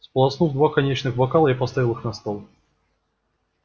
сполоснув два коньячных бокала я поставил их на стол